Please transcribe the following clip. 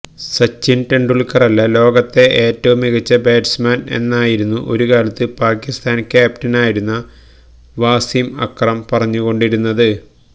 സച്ചിന് തെണ്ടുല്ക്കറല്ല ലോകത്തെ ഏറ്റവും മികച്ച ബാറ്റ്സ്മാന് എന്നായിരുന്നു ഒരു കാലത്ത് പാകിസ്താന് ക്യാപ്റ്റനായിരുന്ന വസിം അക്രം പറഞ്ഞുകൊണ്ടിരുന്നത്